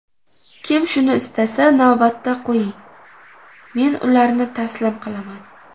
Kim shuni istasa, navbatda qo‘ying, men ularni taslim qilaman.